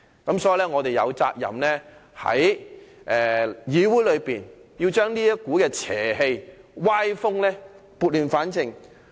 因此，我們有責任在議會中把這股邪氣和歪風撥亂反正。